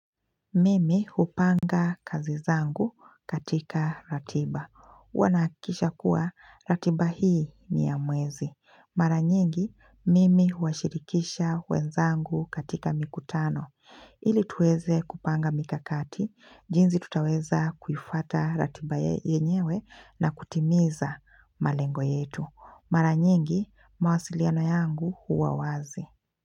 Mimi hupanga kazi zangu katika ratiba. Huwa nahakikisha kuwa ratiba hii ni ya mwezi. Mara nyingi, mimi huwashirikisha wezangu katika mikutano. Ili tuweze kupanga mikakati, jinzi tutaweza kuifuata ratiba yenyewe na kutimiza malengo yetu. Mara nyingi, mawasiliano yangu huwa wazi.